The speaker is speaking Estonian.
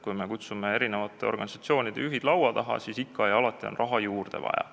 Kui me kutsume organisatsioonide juhid laua taha, siis selgub, et ikka ja alati on raha juurde vaja.